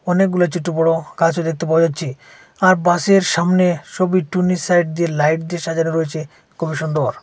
অনেকগুলা ছোট বড় গাছও দেখতে পাওয়া যাচ্ছে আর বাসের সামনে সবির টুনি সাইড দিয়ে লাইট দিয়ে সাজানো রয়েছে খুবই সুন্দর।